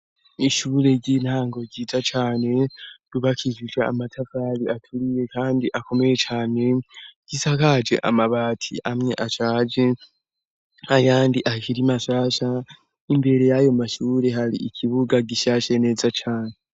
Ishure ry'intango ryiza cane, rubakishijwe amatafari aturiye kandi akomeye cane, risakaje amabati amwe ashaje ayandi akiri masasha, imbere y'ayo mashure har'ikibuga gishashe neza cane.